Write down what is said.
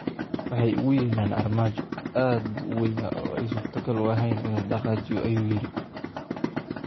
""Waxay ugu yeedheen armaajo, aad buu u weynaa oo ay suurtogal ahayn in la dhaqaajiyo," ayuu yidhi.